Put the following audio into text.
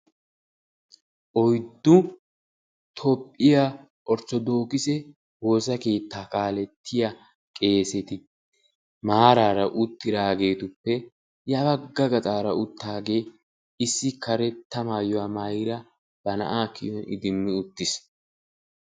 oyddu toophiya orttodokisse woossa keetta kaaletiyaa qeesetuppe ya bagga gaxxaara uttaage issi karetta maayuwaa maayida ba na'aa kiyuwan iddimmi uttiis.